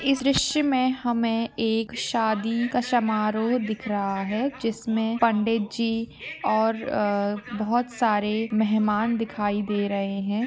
इस द्रश्य में हम एक शादी का समाहरो दिख रहा है जिसमे पंडित जी और बहुत सारे मेहमान दिखाई दे रहे है।